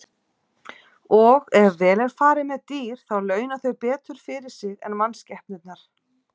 Og ef vel er farið með dýr þá launa þau betur fyrir sig en mannskepnurnar.